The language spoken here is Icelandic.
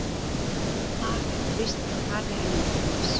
Þar er þrýstingur hærri en umhverfis.